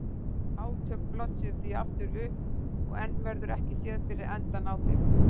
Átök blossuðu því aftur upp og enn verður ekki séð fyrir endann á þeim.